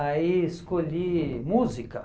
Aí escolhi música.